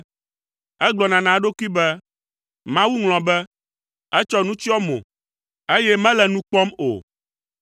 Egblɔna na eɖokui be, “Mawu ŋlɔ be; etsɔ nu tsyɔ eƒe mo, eye mele nu kpɔm o.”